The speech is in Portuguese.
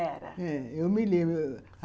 É, eu me lembro.